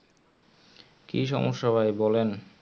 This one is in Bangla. কি সম্যসা ভাই বলেন?